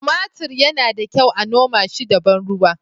Tumatir yana da kyau a noma shi da ban ruwa